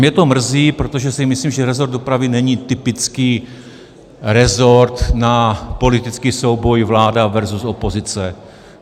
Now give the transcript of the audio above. Mě to mrzí, protože si myslím, že rezort dopravy není typický rezort na politický souboj vláda versus opozice.